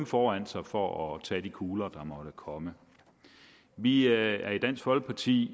foran sig for at tage de kugler der måtte komme vi er i dansk folkeparti